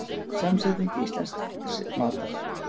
Samsetning íslensks matar